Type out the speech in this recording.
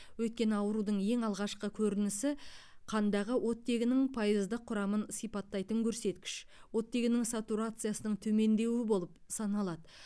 өйткені аурудың ең алғашқы көрінісі қандағы оттегінің пайыздық құрамын сипаттайтын көрсеткіш оттегінің сатурациясының төмендеуі болып саналады